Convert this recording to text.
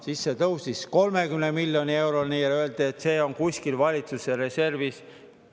Siis see tõusis 30 miljoni euroni ja öeldi, et see on kuskil valitsuse reservis.